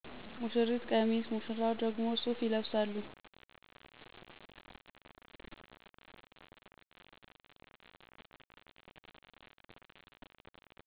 ሙሺሪት ቀሚስ ሙሺራው ደግሞ ሱፍ ይለብሳሉ።